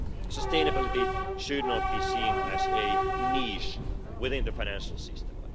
Sustainability should not be seen as a niche within the financial system.